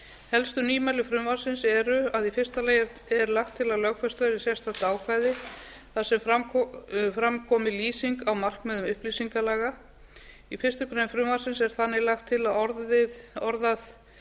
helstu nýmæli frumvarpsins eru að í fyrsta lagi er lagt til að lögfest verði sérstakt ákvæði þar sem fram komi lýsing á markmiðum upplýsingalaga í fyrstu grein frumvarpsins er þannig lagt til að orðað